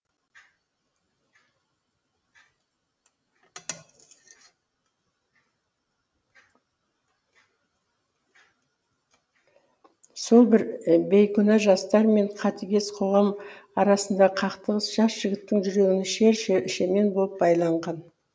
сол бір бейкүнә жастар мен қатыгез қоғам арасындағы қақтығыс жас жігіттің жүрегіне шер шемен болып байланған